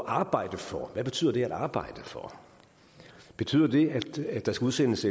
at arbejde for hvad betyder det at arbejde for betyder det at der skal udsendes